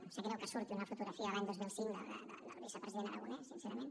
em sap greu que surti una fotografia de l’any dos mil cinc del vicepresident aragonès sincerament